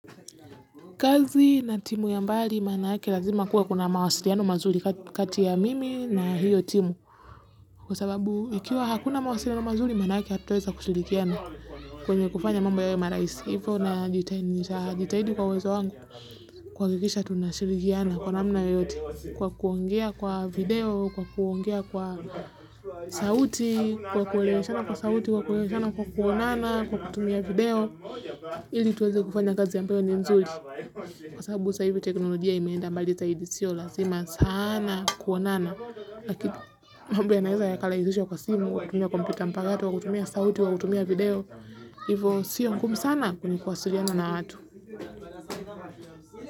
Kazi na timu ya mbali, manake lazima kuwa kuna mawasiriano mazuri kati ya mimi na hiyo timu. Kwa sababu, ikiwa hakuna mawasiriano mazuri, manake hatuweza kushirigiana kwenye kufanya mambo yawe maraisi. Hivo, na jitahidi kwa uwezo wangu, kuwakikisha tunashirikiana kwa namna yoyote. Kwa kuongea kwa video, kwa kuongea kwa sauti, kwa kuongea kwa sauti, kwa kuongea kwa kuonana, kwa kutumia video. Ili tuwazi kufanya kazi ya mpeyo ni nzuri kwa sababu sa hivyo teknolojia imeenda mbali zaidi siyo lazima sana kuonana lakini mambo yana eza ya kalahizisho kwa simu wakutumia kompita mpagatu, wakutumia sauti wakutumia video hivyo siyo ngumu sana kwenye kuwasuliana na watu.